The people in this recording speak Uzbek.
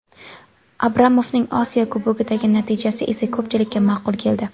Abramovning Osiyo Kubogidagi natijasi esa ko‘pchilikka ma’qul keldi.